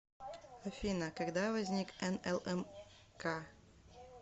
афина когда возник нлмк